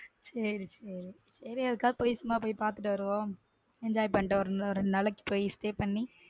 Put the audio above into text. சேரி சேரி எதுக்காவது சும்மா போய் பாத்துட்டு வருவோம் enjoy பண்ணிட்டு வருவாரு ரெண்டு நாளைக்கி போய் stay பண்ணி.